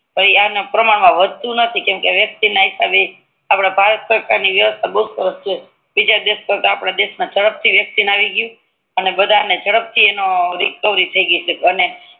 પછી અગડ વધતું નથી કેમકે વેકસીં ના હિસાબે આપડી ભારત સરકાર ની વ્યવસ્થા સરસ છે બીજા દેખ કરતાં યપદ દેશ મા વેકસીં જડપથી આવી ગયું અને બધા ને જડપથી એનો રેકવારી થી ગઈ છે અને